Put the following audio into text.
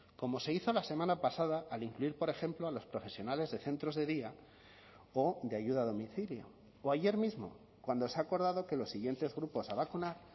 como se hizo la semana pasada al incluir por ejemplo a los profesionales de centros de día o de ayuda a domicilio o ayer mismo cuando se ha acordado que los siguientes grupos a vacunar